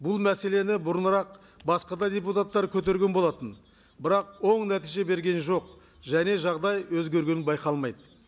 бұл мәселені бұрынырақ басқа да депутаттар көтерген болатын бірақ оң нәтиже берген жоқ және жағдай өзгергені байқалмайды